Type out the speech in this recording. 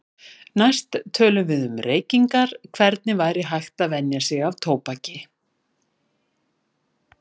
Næst tölum við um reykingar, hvernig væri hægt að venja sig af tóbaki.